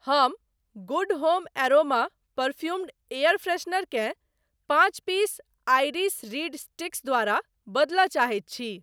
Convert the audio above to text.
हम Good Home aroma perfumed air freshener केँ पाँच पीस आइरिस रीड स्टीक्स द्वारा बदलय चाहैत छी।